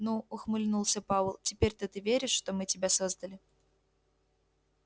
ну ухмыльнулся пауэлл теперь-то ты веришь что мы тебя создали